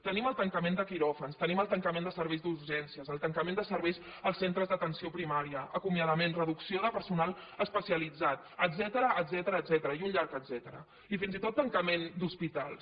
tenim el tancament de quiròfans tenim el tancament de serveis d’urgències el tancament de serveis als centres d’atenció primària acomiadament reducció de personal especialitzat etcètera i un llarg etcètera i fins i tot tancament d’hospitals